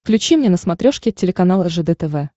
включи мне на смотрешке телеканал ржд тв